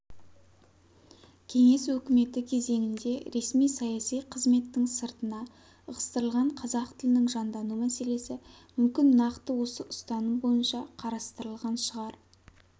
кеңес өкіметі кезеңінде ресми-саяси қызметтің сыртына ығыстырылған қазақ тілінің жандану мәселесі мүмкін нақты осы ұстаным бойынша қарастырылған шығар